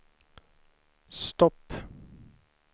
stopp